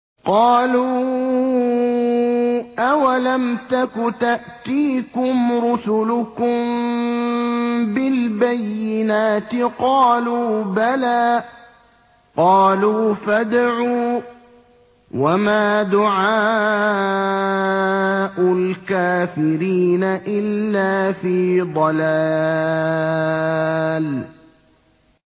قَالُوا أَوَلَمْ تَكُ تَأْتِيكُمْ رُسُلُكُم بِالْبَيِّنَاتِ ۖ قَالُوا بَلَىٰ ۚ قَالُوا فَادْعُوا ۗ وَمَا دُعَاءُ الْكَافِرِينَ إِلَّا فِي ضَلَالٍ